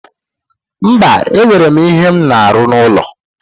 Mba, e nwere m ihe m na-aru n'ụlọ